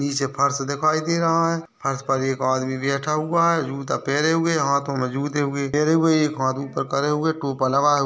नीचे फर्श दिखाई दे रहा है फर्श पर एक आदमी बैठा हुआ है जूता पहरे हुए हाथों में जूते हुए पहरे हुए एक हाथ ऊपर करे हुए टोपा लगाया --